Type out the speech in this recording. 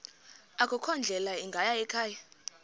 akukho ndlela ingayikhaya